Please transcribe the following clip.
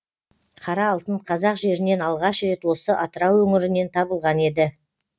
қара алтын қазақ жерінен алғаш рет осы атырау өңірінен табылған еді